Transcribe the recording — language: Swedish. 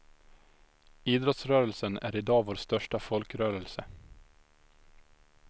Idrottsrörelsen är idag vår största folkrörelse.